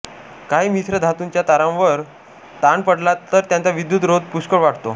काही मिश्रधातूंच्या तारांवर ताण पडला तर त्यांचा विद्युत् रोध पुष्कळ वाढतो